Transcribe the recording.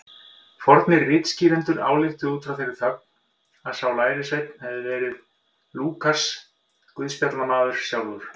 Fornir ritskýrendur ályktuðu út frá þeirri þögn að sá lærisveinn hefði verið Lúkas guðspjallamaður sjálfur.